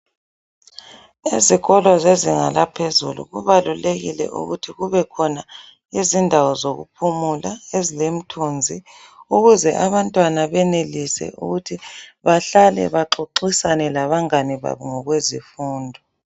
Ezikolo zezinga laphezulu kubalulekile ukuthi kube khona inzindawo zokuphumula ezilemithunzi ukuze abantwana benelise ukuthi bahlale baxoxisane labangane babo ngezemfundo.